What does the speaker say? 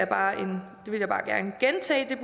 bare gerne gentage